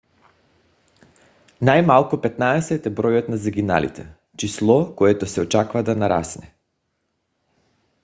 най - малко 15 е броят на загиналите. число което се очаква да нарасне